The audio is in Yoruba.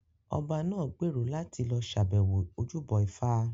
Ọba náà gbèrò láti lọ ṣàbẹ̀wọ̀ ojúbọ ifá